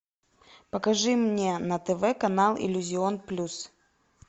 покажи мне на тв канал иллюзион плюс